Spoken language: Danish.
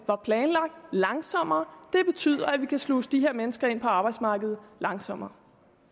var planlagt langsommere det betyder at vi kan sluse de her mennesker ind på arbejdsmarkedet langsommere